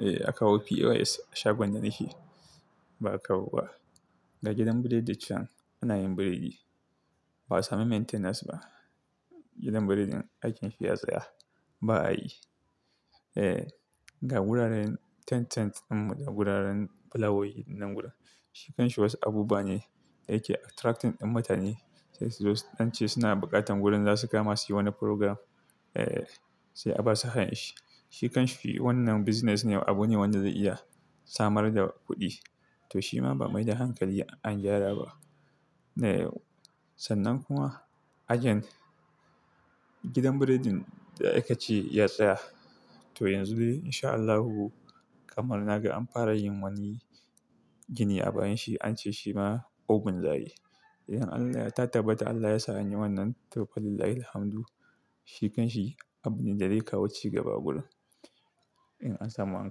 eh a kawo POS a shagon da nake ba'a kawo ba. Ga gidan breading can ana yin breading ba'a samu maintenance ba. Gidan breading aikin shi ya tsaya ba a yi. Eh, ga wuraren tent tent nan da wuraren palour nan gurin. Shikanshi wasu abubuwa ne da yake attracting din mutane. Sai su zo nan ce suna buƙatan gurin za su kama su yi wani program. Eh, sai a ba su hanyar shi. Shikanshi wannan business ne abu ne wanda zai iya samar da kuɗi. To shi ma ba amai da hankali an gyara ba. Sannan kuma again gidan breading da aka ce ya tsaya. To yanzu dai in sha Allahu kamar na ga an fara yin wani gini a bayan shi ance shi ma obin za ayi idan Allah ya tabbata Allah ya sa an yi wannan to wallahi ilhamdu. Shikanshi abune da zai kawo cigaba gurin in an samu an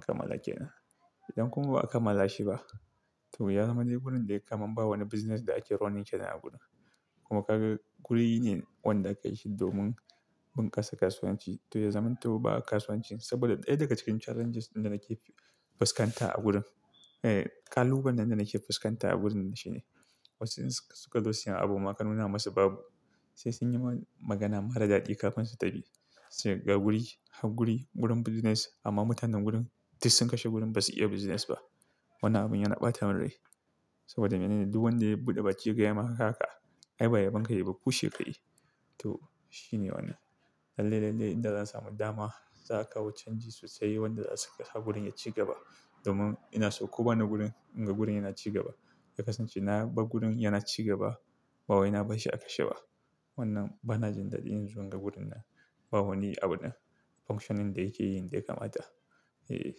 kammala kenan idan kuma ba a kammalashiba ya za ma dai wurin kamar bawani bussines da ake running awurin kenan kuma kaga guri ne wanda aka yi shi domin bunkasa kasuwanci. To ya zam to ba a kasuwanci saboda ɗaya daga cikin challenges ɗin da nake fuskanta a gurin. Eh, kalubalen da nake fuskanta a gurin shine wasu in suka zo su sanya abu ma ka nuna masu babu. Sai sun yi magana mara daɗi kafin su tafi. Sai ga guri, hau guri gurin business amma mutanen gurin duk sun kashe gurin ba su iya business ba. Wannan abun yana ɓata min rai saboda mene ne? Duk wanda ya buɗe baki ya gayama kaka. Ai ba ya bunka yayi ba ku sheka yayi to shine Wannan Lalle, lalle idan zan samu dama za a kawo changes sosai wanda za su kashe gurin ya ci gaba. Domin inaso ko bani wurin in ga wurin yana ci gaba Da kasance na ba gurin yana ci gaba bawai na barshi a kashe ba. Wannan bana jin daɗi in zo in ga gurin nan. Bawani abunan function da yake yi, yanda yaka mata. Eh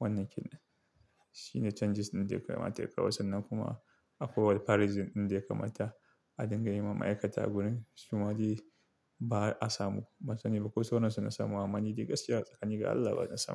wannan kena. Shine changes ɗin da yake mata yake kawo sannan kuma akwai parisim ɗin da yake mata a dinga yiwa ma'aikata a gurin su ma dai ba'a samu. Ban sani ba kosu nasamu amma ni dai gaskiya tsakani ga Allah ba na samu.